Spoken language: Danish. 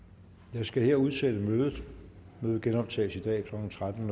jeg skal her udsætte mødet mødet genoptages i dag klokken tretten